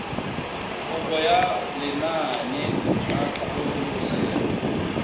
kopo ya lenaane la tlhabololosewa